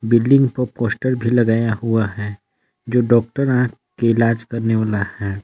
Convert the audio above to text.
Building पर poster भी लगाया हुआ है जो डाॅक्टर आँख के इलाज करने वाला है।